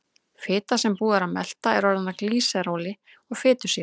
Fita sem búið er að melta er orðin að glýseróli og fitusýrum.